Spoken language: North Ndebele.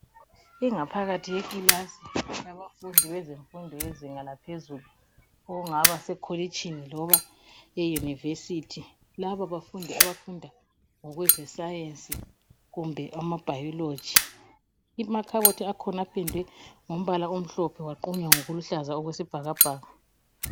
Ingaphakathi yekilasi yabafundi, bezemfundo yezinga laphezulu. Okungaba sekholitshini , loba eyunivesithi. Lababafundi abafunda ngokwezescience kumbe ama Biology. Amakhabothi akhona apendwe ngombala emhlophe, aqunywa ngokuluhlaza okwesibhakabhaka.